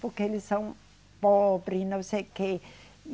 Porque eles são pobre, não sei o quê.